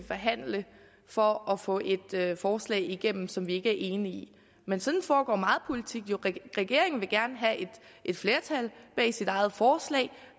forhandle for at få et forslag igennem som vi ikke er enige i men sådan foregår meget politik jo regeringen vil gerne have et flertal bag sit eget forslag